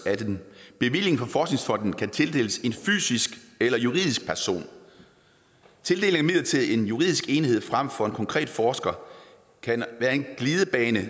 at en bevilling fra forskningsfonden kan tildeles en fysisk eller juridisk person tildeling til en juridisk enhed frem for til en konkret forsker kan være en glidebane